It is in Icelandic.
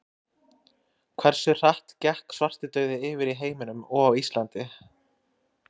Hversu hratt gekk svartidauði yfir í heiminum og á Íslandi?